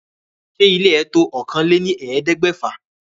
Ṣé ile ẹ to òkàn lẹ́ ní ẹ̀ẹ́dẹ́gbèfà?